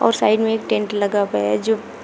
और साइड में एक टेंट लगा हुआ जो।